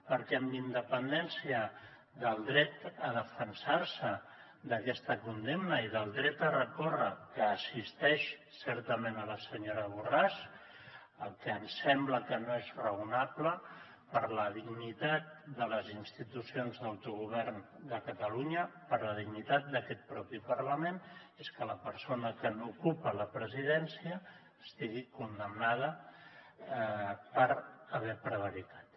perquè amb independència del dret a defensar se d’aquesta condemna i del dret a recórrer que assisteix certament la senyora borràs el que ens sembla que no és raonable per la dignitat de les institucions d’autogovern de catalunya per la dignitat d’aquest propi parlament és que la persona que n’ocupa la presidència estigui condemnada per haver prevaricat